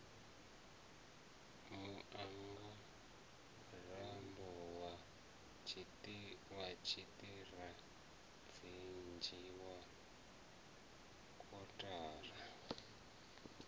muangarambo wa tshiṱirathedzhi wa kotara